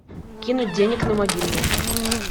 кинуть денег на мобильный